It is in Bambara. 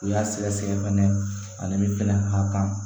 U y'a sɛgɛsɛgɛ fɛnɛ ani min fɛnɛ ka kan